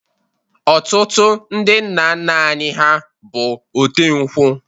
Otụtụ ndi nna nna anyi ha bụ ote nkwụ